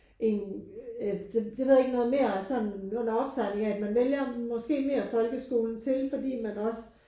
En øh det ved jeg ikke noget mere sådan under opsejling af at man vælger måske mere folkeskolen til fordi man også